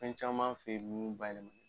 Fɛn caman fɛ nun ba ye